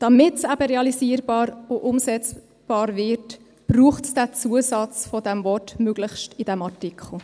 Damit es eben realisierbar und umsetzbar wird, braucht es diesen Zusatz des Wortes «möglichst» in diesem Artikel.